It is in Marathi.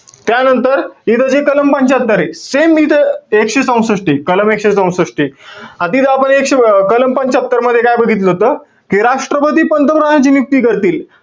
त्यानंतर, इथं जे कलम पंच्यात्तरे, same इथं एकशे चौसष्टे. कलम एकशे चौसष्टे. आता इथं आपण एकशे~ कलम पंच्यात्तर मध्ये काय बघितलं होतं? कि राष्ट्रपती पंतप्रधांनाची नियुक्ती करतील.